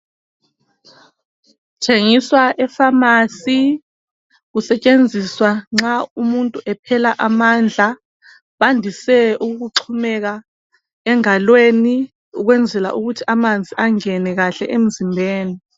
Kuthengiswa efamasi kusetshenziswa nxa umuntu ephela amandla. Bandise ukuxhumeka engalweni kwenzela ukuthi amanzi angene kahle emzimbeni.